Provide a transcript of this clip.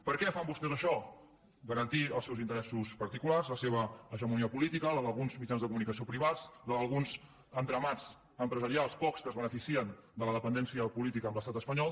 per què fan vostès això per garantir els seus interessos particulars la seva hegemonia política la d’alguns mitjans de comunicació privats la d’alguns entramats empresarials pocs que es beneficien de la dependència política amb l’estat espanyol